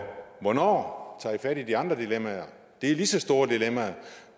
hvornår tager i fat i de andre dilemmaer det er lige så store dilemmaer